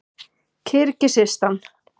Kirgisistan